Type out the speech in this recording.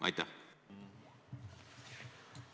Aitäh!